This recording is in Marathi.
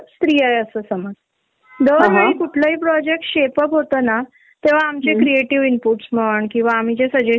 आणि कामाचा एक्सपेरियंस पण, पण जेव्हा हि कधी कुठली क्रीएटिव्ह मिटिंग असली कि आमचे जे इनपुट असतात त्याला डावलल जात.